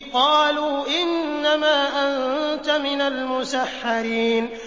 قَالُوا إِنَّمَا أَنتَ مِنَ الْمُسَحَّرِينَ